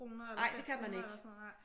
Nej det kan man ikke